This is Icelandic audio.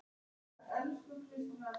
Stórum og smáum.